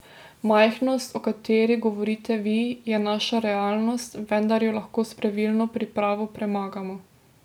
Majhnost, o kateri govorite vi, je naša realnost, vendar jo lahko s pravilno pripravo premagamo.